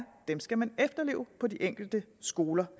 skal man efterleve på de enkelte skoler